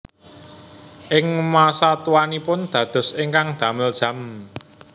Ing masa tuanipun dados ingkang damel jam